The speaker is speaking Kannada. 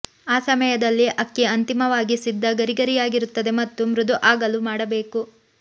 ಈ ಸಮಯದಲ್ಲಿ ಅಕ್ಕಿ ಅಂತಿಮವಾಗಿ ಸಿದ್ಧ ಗರಿಗರಿಯಾಗಿರುತ್ತದೆ ಮತ್ತು ಮೃದು ಆಗಲು ಮಾಡಬೇಕು